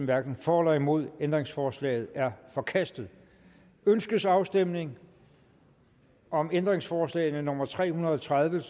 hverken for eller imod stemte ændringsforslaget er forkastet ønskes afstemning om ændringsforslag nummer tre hundrede og tredive